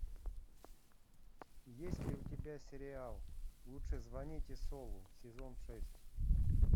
есть ли у тебя сериал лучше звоните солу сезон шесть